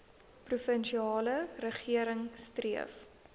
provinsiale regering streef